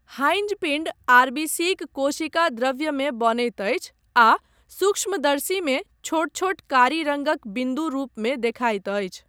Heinz पिंड आरबीसीक कोशिकाद्रव्यमे बनैत अछि आ सूक्ष्मदर्शीमे छोट छोट कारी रङ्गक बिन्दु रूपमे देखाइत अछि।